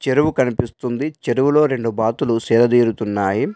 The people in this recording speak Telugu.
చెరువు కనిపిస్తుంది చెరువులో రెండు బాతులు సేదదీరుతున్నాయి.